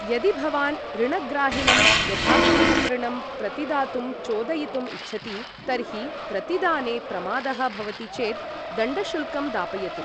यदि भवान् ऋणग्राहिणं यथासमयम् ऋणं प्रतिदातुं चोदयितुम् इच्छति, तर्हि प्रतिदाने प्रमादः भवति चेत् दण्डशुल्कं दापयतु।